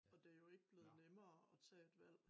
Og det jo ikke blevet nemmere at tage et valg